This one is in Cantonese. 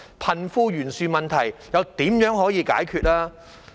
貧富懸殊問題又怎麼能解決？